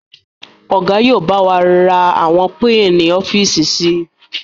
Ọ̀gá yìí ó bá wà ra àwọn piini-ofiíísì síí